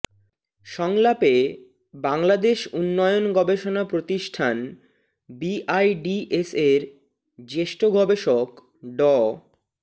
সংলাপে বাংলাদেশ উন্নয়ন গবেষণা প্রতিষ্ঠান বিআইডিএসের জ্যেষ্ঠ গবেষক ড